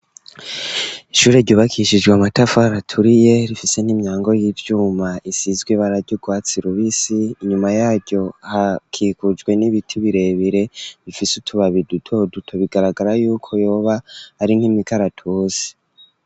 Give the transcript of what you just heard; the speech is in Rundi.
Ishure ryubakishijwe amatafari aturiye rifise n'imyango y'ivyuma isizwe ibara ryurwatsi rubisi inyuma yaryo hakikujwe n'ibiti birebire bifise utubabi duto duto bigaragara yuko yoba ari nk'imikaratuzi.